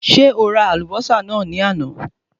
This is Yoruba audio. Ṣé o ra àlùbọ́sà náà ni àná?